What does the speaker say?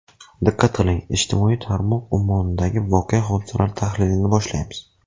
Diqqat qiling, ijtimoiy tarmoq ummonidagi voqea-hodisalar tahlilini boshlaymiz.